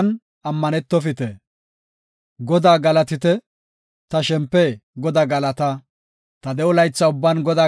Ta de7o laytha ubban Godaa galatana; ta de7ida wode ubban ta Xoossaa sabbana.